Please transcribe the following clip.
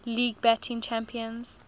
league batting champions